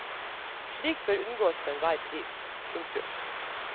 Slikt bør unngås for enhver pris. punktum